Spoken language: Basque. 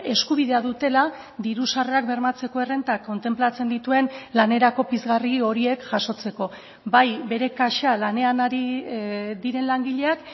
eskubidea dutela diru sarrerak bermatzeko errentak kontenplatzen dituen lanerako pizgarri horiek jasotzeko bai bere kaxa lanean ari diren langileak